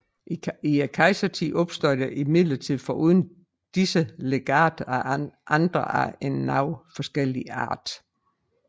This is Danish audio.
I kejsertiden opstod der imidlertid foruden disse legat andre af en noget forskellige art